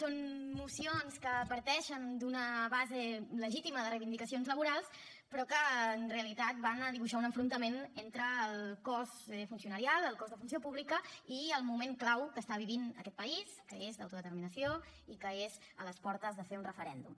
són mocions que parteixen d’una base legítima de reivindicacions laborals però que en realitat van a dibuixar un enfrontament entre el cos funcionarial el cos de funció pública i el moment clau que està vivint aquest país que és d’autodeterminació i que és a les portes de fer un referèndum